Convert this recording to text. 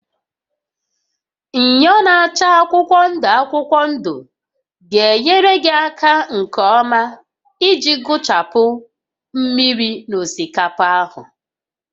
Myọ na-acha akwụkwọ ndụ akwụkwọ ndụ ga-enyere gị aka nke ọma iji gụchapụ mmiri na osikapa ahụ